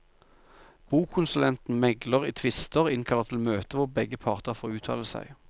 Bokonsulenten megler i tvister, innkaller til møte hvor begge parter får uttale seg.